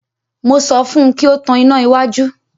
Mo sọ fún un kí ó tan iná iwájú.